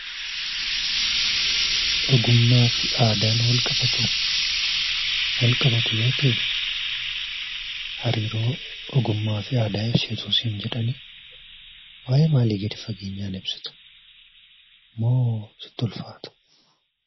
Ogummaa fi aadaan wal qabatuu? Wal qabatu yoo ta'ee, hariiroo ogummaa fi aadaa ibsi utuu siin jedhanii waa'ee maalii gadi fageenyaan ibsita? Moo sitti ulfaata?